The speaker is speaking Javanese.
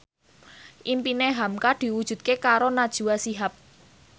impine hamka diwujudke karo Najwa Shihab